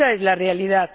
Y esa es la realidad.